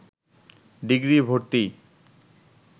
degree ভর্তি